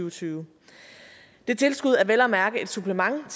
og tyve det tilskud er vel at mærke et supplement